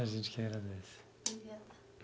A gente que agradece. Obrigada.